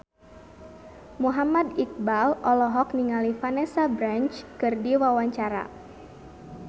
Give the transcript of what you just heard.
Muhammad Iqbal olohok ningali Vanessa Branch keur diwawancara